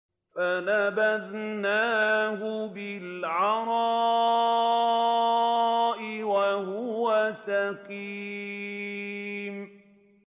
۞ فَنَبَذْنَاهُ بِالْعَرَاءِ وَهُوَ سَقِيمٌ